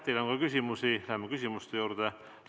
Teile on ka küsimusi, lähme küsimuste juurde.